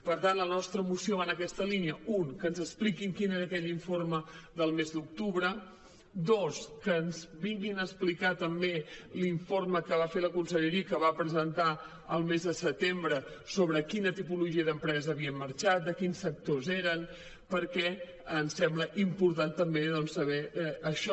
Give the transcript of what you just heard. per tant la nostra moció va en aquesta línia una que ens expliquin quin era aquell informe del mes d’octubre dos que ens vinguin a explicar també l’informe que va fer la conselleria i que va presentar al mes de setembre sobre quina tipologia d’empreses havien marxat de quins sectors eren perquè ens sembla important també saber això